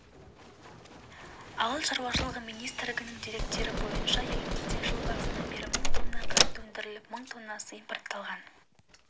ауыл шаруашылығы министрлігінің деректері бойынша елімізде жыл басынан бері мың тонна қант өндіріліп мың тоннасы импортталған